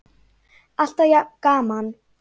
Alltaf jafn gaman!